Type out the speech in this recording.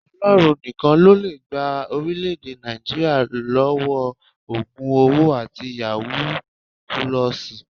Ọlọ́run nìkan ló lè gba orílẹ̀ èdè Nàìjíríà lọ́wọ́ ògùn owó àti yàwúù pulọọsì